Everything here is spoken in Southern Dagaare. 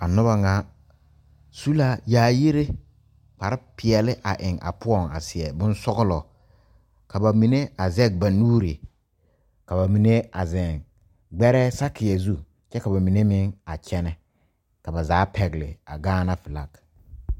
A noba ŋa su la yaayiri kparepeɛle a eŋ a poɔŋ a seɛ bonsɔglɔ ka ba mine a zɛge ba nuuri ka ba mine a zeŋ gbɛrɛɛ sakeɛ zu kyɛ ka ba mine meŋ a kyɛnɛ ka ba zaa a pɛgle a Gaana filaki.